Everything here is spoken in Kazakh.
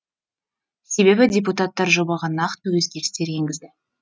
себебі депутаттар жобаға нақты өзгерістер енгізді